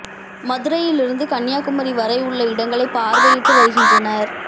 மதுரையில் இருந்து கன்னியாகுமரி வரை உள்ள இடங்களை பார்வையிட்டு வருகின்றனர்